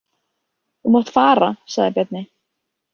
Þú mátt fara, sagði Bjarni.